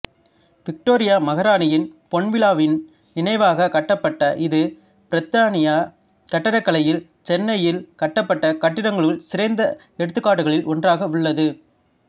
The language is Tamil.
விக்டோரியா மகாராணியின் பொன்விழாவின் நினைவாக கட்டப்பட்ட இது பிரித்தானிய கட்டிடக்கலையில் சென்னையில் கட்டப்பட்ட கட்டடங்களுக்கு சிறந்த எடுத்துக்காட்டுகளில் ஒன்றாக உள்ளது